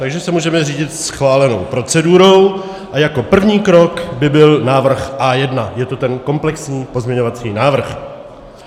Takže se můžeme řídit schválenou procedurou a jako první krok by byl návrh A1, je to ten komplexní pozměňovací návrh.